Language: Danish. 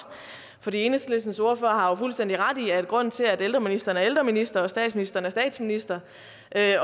for enhedslistens ordfører har fuldstændig ret i at grunden til at ældreministeren er ældreminister og statsministeren er statsminister